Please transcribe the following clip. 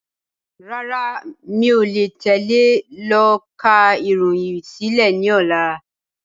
Rárá, mi ò le tẹ́lé yìí lọ ká ìròyìn sílẹ̀ ni ọ̀la.